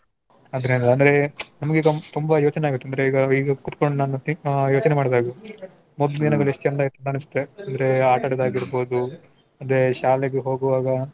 ಆದ್ರೆ ಅಂದ್ರೆ ನಮ್ಗೆ ಈಗ ತುಂಬಾ ಯೋಚನೆ ಆಗತ್ತೆ ಅಂದ್ರೆ ಈಗ ಕೂತ್ಕೊಂಡ್ ನಾನ್ think ಯೋಚನೆ ಮಾಡ್ದಾಗ. ಮೊದ್ಲ್ ದಿನಗಳು ಎಷ್ಟ್ ಚಂದ ಅನ್ಸತ್ತೆ ಅಂದ್ರೆ ಆಟಾಡದಾಗಿರ್ಬೋದು ಅದೇ ಶಾಲೆಗೆ ಹೋಗುವಾಗ,